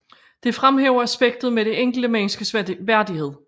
Det fremhæver aspektet med det enkelte menneskes værdighed